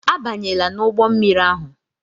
Abanyela n'ụgbọ mmiri ahu!